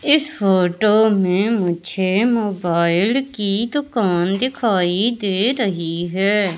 इस फोटो में मुझे मोबाइल की दुकान दिखाई दे रही है।